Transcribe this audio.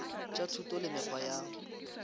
tša thuto le mekgwa ya